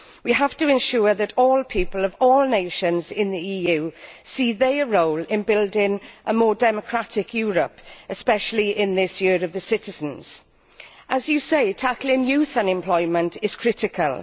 We have to ensure that all people of all nations in the EU see their role in building a more democratic Europe, especially in this Year of the Citizen. As you say, tackling youth unemployment is critical.